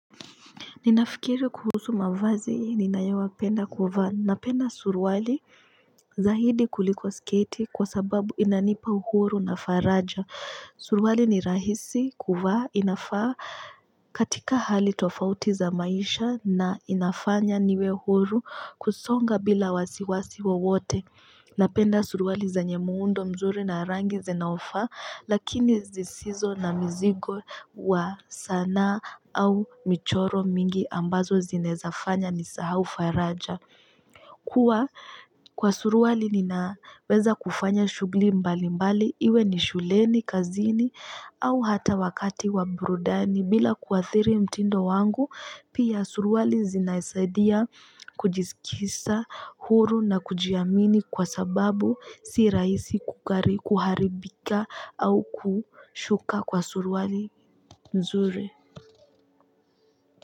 Ninafikiri kuhusu mavazi, ninayo penda kuvaa. Napenda suruali zaidi kuliko sketi kwa sababu inanipa uhuru na faraja. Suruali ni rahisi kuvaa inafaa katika hali tofauti za maisha na inafanya niwe huru kusonga bila wasiwasi wowote. Napenda suruali zenye muundo mzuri na rangi zinaofaa, lakini zisizo na mzigo wa sanaa au michoro mingi ambazo zinaezafanya nisahau faraja. Huwa Kwa suruali ninaweza kufanya shughuli mbali mbali iwe ni shuleni kazini au hata wakati wa burudani bila kuathiri mtindo wangu. Pia suruali zinasaidia kujiskisa huru na kujiamini kwa sababu sirahisi kukari kuharibika au kushuka kwa suruali nzuri.